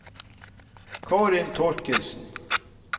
Karin Thorkildsen